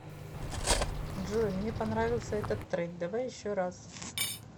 джой мне понравился этот трек давай еще раз